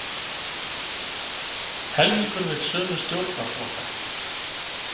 Helmingur vill sömu stjórnarflokka